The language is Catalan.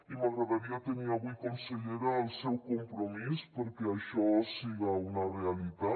i m’agradaria tenir avui consellera el seu compromís perquè això siga una realitat